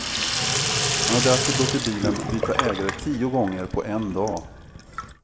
Han har därför låtit bilen byta ägare tio gånger på en dag.